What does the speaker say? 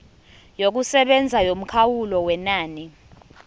yokusebenza yomkhawulo wenani